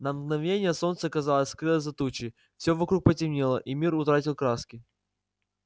на мгновение солнце казалось скрылось за тучей все вокруг потемнело и мир утратил краски